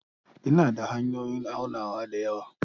Ina da hanyoyin aunawa da yawa.